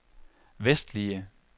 vestlige